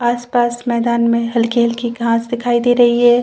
आस-पास मैदान में हल्की-हल्की घाँस दिखाई दे रही है।